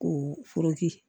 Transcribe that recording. Ko foroki